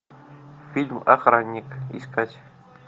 фильм охранник искать